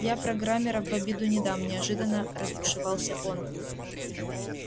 я программеров в обиду не дам неожиданно разбушевался он